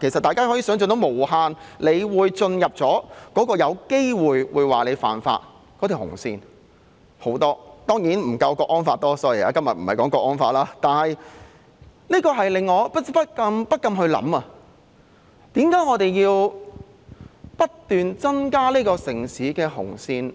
其實大家可以想象到無限個有機會進入犯法紅線的情況——當然不夠港區國安法多，但今天不是討論港區國安法——這令我不禁思考，為何我們要不斷增加這個城市的紅線，